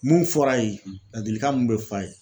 Mun fɔr'a ye ladilikan mun be f'a ye